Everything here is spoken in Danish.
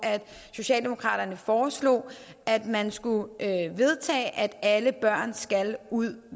socialdemokratiet foreslog at man skulle vedtage at alle børn skal ud